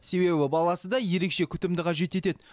себебі баласы да ерекше күтімді қажет етеді